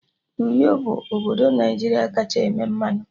Uyo bụ obodo Naijiria kacha eme mmanụ